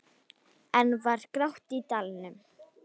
Enn var grátt í dalnum.